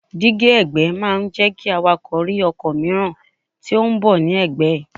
Dígí ẹ̀gbẹ́ máa ń jẹ́ kí awakọ̀ rí ọkọ̀ mìíràn tí ó ń bọ̀ ní ẹ̀gbẹ́ ẹ̀.